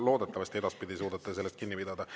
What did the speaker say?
Loodetavasti edaspidi suudate sellest kinni pidada.